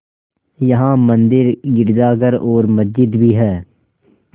यहाँ मंदिर गिरजाघर और मस्जिद भी हैं